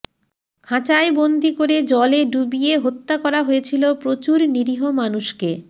খাঁচায় বন্দি করে জলে ডুবিয়ে হত্যা করা হয়েছিল প্রচুর নিরীহ মানুষকে